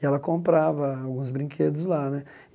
E ela comprava alguns brinquedos lá, né?